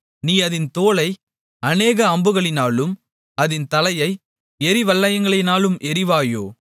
நீ அதின் தோலை அநேக அம்புகளினாலும் அதின் தலையை எறிவல்லையங்களினாலும் எறிவாயோ